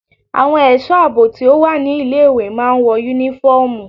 Àwọn ẹ̀sọ́ àbò tí ó wà ní ilé ìwé máa ń wọ yúnífọ́ọ̀mù.